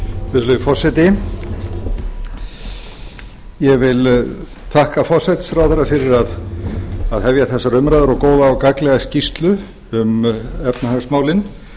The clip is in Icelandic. virðulegi forseti ég vil þakka forsætisráðherra fyrir að hefja þessar umræður og góða og gagnlega skýrslu um efnahagsmálin